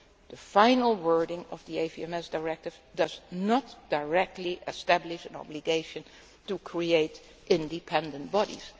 AVMS Directive. The final wording of the AVMS Directive does not directly establish an obligation to create independent